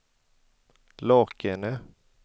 Lakene